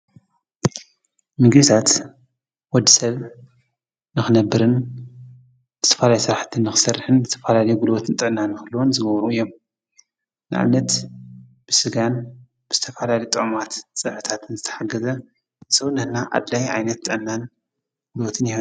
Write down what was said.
ምጌዛት ወድ ሰብ ነኽነብርን ብተፋላይ ሥራሕትን ኽሠርኅን ተፋላል ጕድዎትን ጠእና ምህልወን ዝገብሩ እዮም ንዓነት ብሥጋን ብስተፋላዲ ጠማት ጽሕታትን ዝተሓገዘ ዘውነና ኣድላይ ኣይነት ጠናን ጕሉወትን ነግኒ።